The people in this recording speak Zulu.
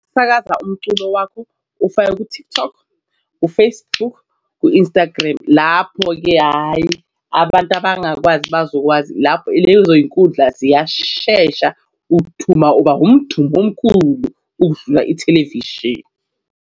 Sisakaza umculo wakho ufake ku-TikTok u-Facebook no-Instagram. Lapho-ke hhayi abantu abangakwazi bazokwazi lapho ileyo inkundla ziyashesha. Uthuma uba umthumi omkhulu ukudlula ithelevishini.